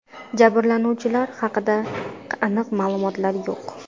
Jabrlanuvchilar haqida aniq ma’lumotlar yo‘q.